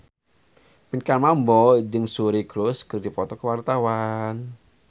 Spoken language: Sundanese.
Pinkan Mambo jeung Suri Cruise keur dipoto ku wartawan